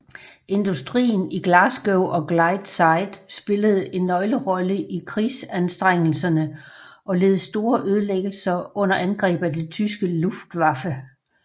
Industrien i Glasgow og Clydeside spillede en nøglerolle i krigsanstrengelserne og led store ødelæggelser under angreb af det tyske Luftwaffe